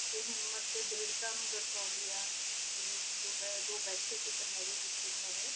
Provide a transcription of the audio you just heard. ਸੋਨਾ ਨਾਲ ਟਾਕੀ ਆ ਹਿਮਾਤਾ ਤਾ ਆ ਕਾ